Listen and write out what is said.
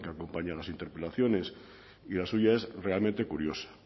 que acompaña a las interpelaciones y la suya es realmente curiosa